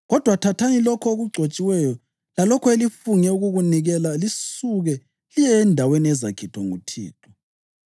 Kodwa thathani lokho okugcotshiweyo lalokho elifunge ukukunikela lisuke liye endaweni ezakhethwa nguThixo.